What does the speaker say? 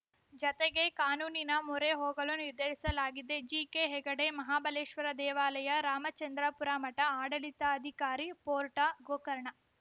ಜತೆಗೆ ಕಾನೂನಿನ ಮೊರೆ ಹೋಗಲೂ ನಿರ್ಧರಿಸಲಾಗಿದೆ ಜಿಕೆಹೆಗಡೆ ಮಹಾಬಲೇಶ್ವರ ದೇವಾಲಯ ರಾಮಚಂದ್ರಾಪುರ ಮಠಆಡಳಿತಾಧಿಕಾರಿ ಪೋರ್ಟಾ ಗೋಕರ್ಣ